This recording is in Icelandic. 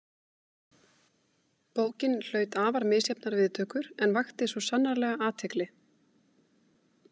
Bókin hlaut afar misjafnar viðtökur en vakti svo sannarlega athygli.